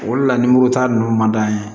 O le la nimoro ta ninnu man d'an ye